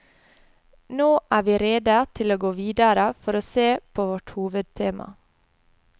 Nå er vi rede til å gå videre for å se på vårt hovedtema.